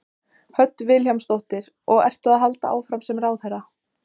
Hödd Vilhjálmsdóttir: Og ertu að halda áfram sem ráðherra?